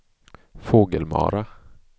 Fågelmara